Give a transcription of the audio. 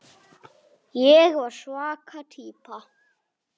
Ég var svaka týpa.